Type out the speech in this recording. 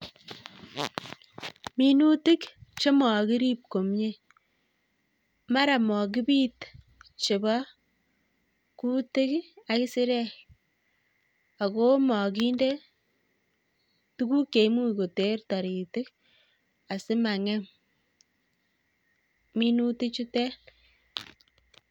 Minutik chemakirib komyie, mara makibit chebo kutik ak kisirek ako makinde tukuk cheimuch koter taritik asimang'em minutik chutek